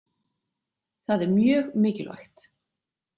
Það er mjög mikilvægt.